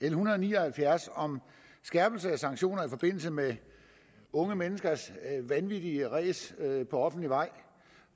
en hundrede og ni og halvfjerds om skærpelse af sanktioner i forbindelse med unge menneskers vanvittige ræs på offentlig vej